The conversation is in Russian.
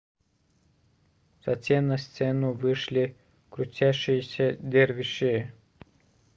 затем на сцену вышли крутящиеся дервиши